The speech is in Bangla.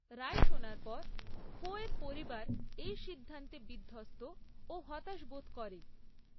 রায় শোনার পর, খোয়ের পরিবার এই সিদ্ধান্তে বিধ্বস্ত ও হতাশ বোধ করে।